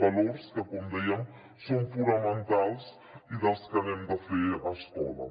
valors que com dèiem són fonamentals i dels que n’hem de fer escola